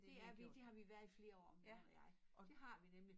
Det er vi det har vi været i flere år min mand og jeg dét har vi nemlig